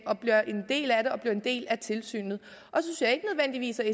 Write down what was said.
og bliver en del af det og bliver en del af tilsynet